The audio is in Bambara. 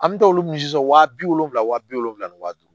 An bɛ taa olu min sisan wa bi wolonwula wa bi wolonwula ni wa duuru